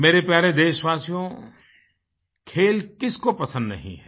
मेरे प्यारे देशवासियो खेल किसको पसंद नहीं है